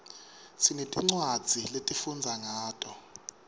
sinetincwadzi lesifundza ngato